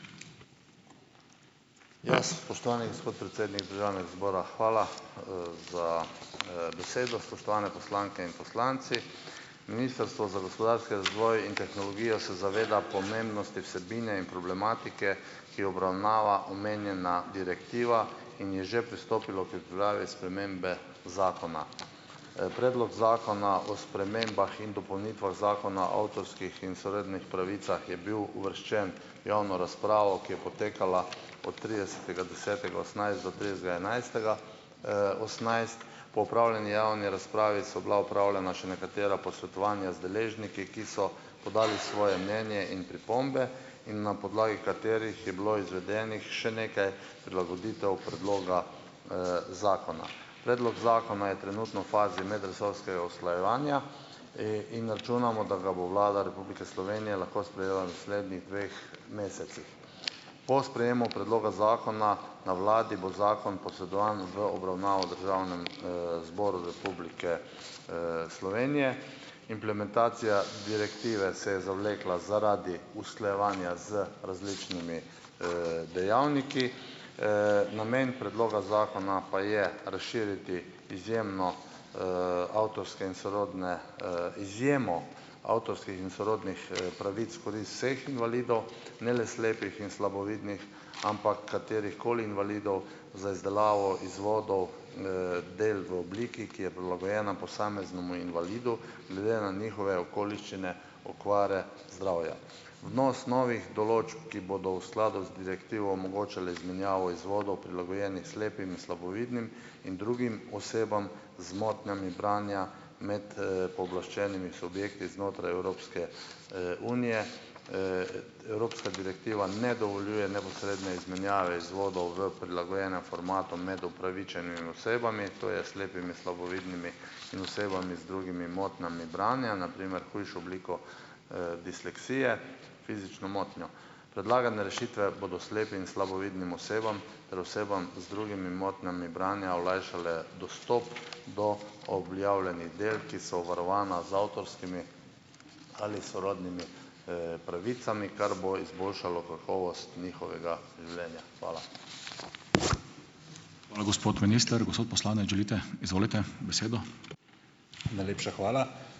Ja. Spoštovani gospod predsednik državnega zbora, hvala, za, besedo. Spoštovane poslanke in poslanci. Ministrstvo za gospodarski razvoj in tehnologijo se zaveda pomembnosti vsebine in problematike, ki jo obravnava omenjena direktiva, in je že pristopilo k pripravi spremembe zakona. Predlog zakona o spremembah in dopolnitvah Zakona o avtorskih in sorodnih pravicah je bil uvrščen v javno razpravo, ki je potekala od tridesetega desetega osemnajst do tridesetega enajstega, osemnajst. Po opravljeni javni razpravi so bila opravljena še nekatera posvetovanja z deležniki, ki so podali svoje mnenje in pripombe, in na podlagi katerih je bilo izvedenih še nekaj prilagoditev predloga, zakona. Predlog zakona je trenutno v fazi medresorskega usklajevanja, in računamo, da ga bo Vlada Republike Slovenije lahko sprejela v naslednjih dveh mesecih. Po sprejemu predloga zakona na vladi bo zakon posredovan v obravnavo Državnemu, zboru Republike, Slovenije. Implementacija direktive se je zavlekla zaradi usklajevanja z različnimi, dejavniki. Namen predloga zakona pa je razširiti izjemno, avtorske in sorodne, izjemo avtorskih in sorodnih, pravic v korist vseh invalidov, ne le slepih in slabovidnih, ampak katerihkoli invalidov, za izdelavo izvodov, del v obliki, ki je prilagojena posameznemu invalidu glede na njihove okoliščine okvare zdravja. Vnos novih določb, ki bodo v skladu z direktivo omogočale izmenjavo izvodov, prilagojenih slepim in slabovidnim in drugim osebam z motnjami branja med, pooblaščenimi subjekti znotraj Evropske, unije, ta evropska direktiva ne dovoljuje neposredne izmenjave izvodov v prilagojenem formatu med upravičenimi osebami, to je slepimi, slabovidnimi in osebami z drugimi motnjami branja, na primer hujšo obliko, disleksije, fizično motnjo. Predlagane rešitve bodo slepim in slabovidnim osebam ter osebam z drugimi motnjami branja olajšale dostop do objavljenih del, ki so varovana z avtorskimi ali sorodnimi, pravicami, kar bo izboljšalo kakovost njihovega življenja. Hvala.